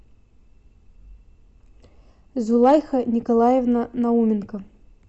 зулайха николаевна науменко